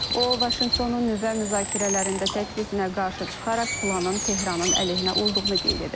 O Vaşinqtonun nüvə müzakirələrində təklifinə qarşı çıxaraq planın Tehranın əleyhinə olduğunu qeyd edib.